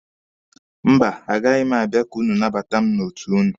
Mba, a gaghị m abịa ka ụnụ nabata mụ n'otu ụnụ.